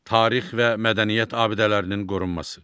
Tarix və mədəniyyət abidələrinin qorunması.